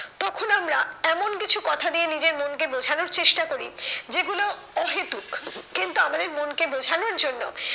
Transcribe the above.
তখন আমরা এমন কিছু কথা দিয়ে নিজের মনকে বোঝানোর চেষ্টা করি যেগুলো অহেতুক। কিন্তু আমাদের মনকে বোঝানোর জন্য